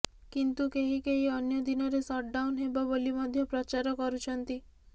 କିନ୍ତୁ କେହି କେହି ଅନ୍ୟ ଦିନରେ ସଟଡାଉନ୍ ହେବ ବୋଲି ମଧ୍ୟ ପ୍ରଚାର କରୁଛନ୍ତି